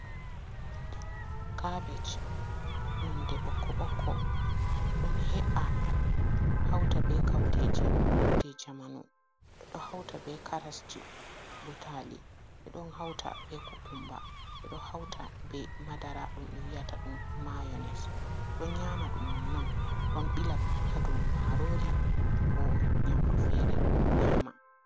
Kaabej nonnde ɓokko- ɓokko, ɗon he’a hawta be kawteeji jey jamanu, ɓe ɗo hawta be karasji, butaali, ɓe ɗon hawta be kookummba, ɓe ɗo hawta be madara, ɗum wiyata ɗum maayones, ɗon nyaama ɗum non-non, ɗon ɓila ɗum haa dow maaroori, ko nyaamndu feere nyaama.